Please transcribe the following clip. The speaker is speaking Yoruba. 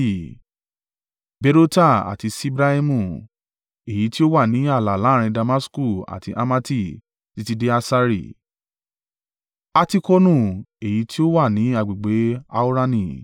Berota àti Sibraimu, èyí tí ó wà ní ààlà láàrín Damasku àti Hamati títí dé Hasari Hatikonu, èyí tí ó wà ní agbègbè Haurani.